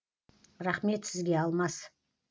рахмет сізге алмас